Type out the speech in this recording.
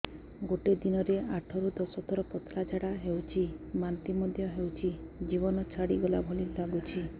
ଗୋଟେ ଦିନରେ ଆଠ ରୁ ଦଶ ଥର ପତଳା ଝାଡା ହେଉଛି ବାନ୍ତି ମଧ୍ୟ ହେଉଛି ଜୀବନ ଛାଡିଗଲା ଭଳି ଲଗୁଛି